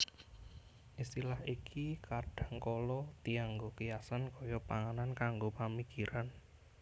Istilah iki kadhangkala dianggo kiasan kaya panganan kanggo pamikiran